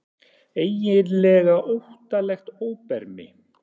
Eiginlega óttalegt óbermi.